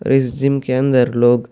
اس gym کے اندر لوگ--